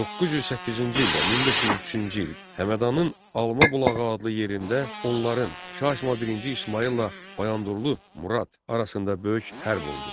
908-ci ildə 1503-cü il Həmədanın Alma bulağı adlı yerində onların Şah İsmayıl birinci İsmayılla Bayandurlu Murad arasında böyük hərb oldu.